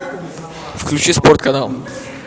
включи спорт канал